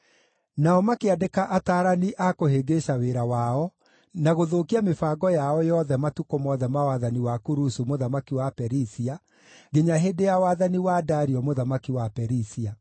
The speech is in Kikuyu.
Nao makĩandĩka ataarani a kũhĩngĩca wĩra wao, na gũthũkia mĩbango yao yothe matukũ mothe ma wathani wa Kurusu mũthamaki wa Perisia, nginya hĩndĩ ya wathani wa Dario mũthamaki wa Perisia.